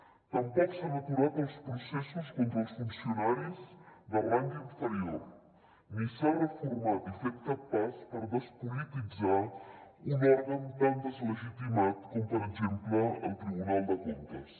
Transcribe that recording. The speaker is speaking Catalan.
tampoc s’han aturat els processos contra els funcionaris de rang inferior ni s’ha reformat i fet cap pas per despolititzar un òrgan tan deslegitimat com per exemple el tribunal de comptes